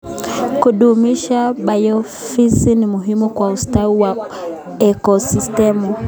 Kudumisha biodiversity ni muhimu kwa ustawi wa ekosistimu.